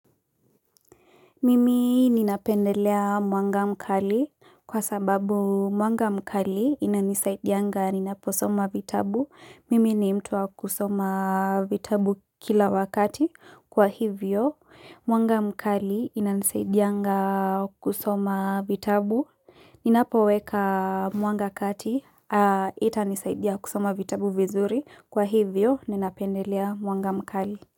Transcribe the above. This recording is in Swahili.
Mimi nina pendelea mwanga mkali kwa sababu mwanga mkali inanisaidianga ninaposoma vitabu. Mimi ni mtu wa kusoma vitabu kila wakati kwa hivyo. Mwanga mkali inanisaidianga kusoma vitabu. Ninapoweka mwanga kati itanisaidia kusoma vitabu vizuri kwa hivyo ninapendelea mwanga mkali.